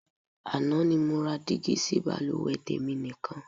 Àná ni mo ra dígí sí baluwe tèmi nìkan.